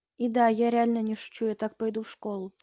и да я реально не шучу я так пойду в школу